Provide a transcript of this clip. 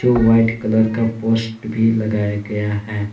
White colour का post भी लगाया गया है।